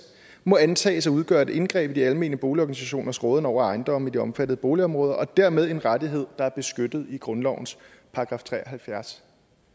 må antages at udgøre et indgreb i de almene boligorganisationers råden over ejendomme i de omfattede boligområder og dermed i en rettighed der er beskyttet af grundlovens § tre og halvfjerds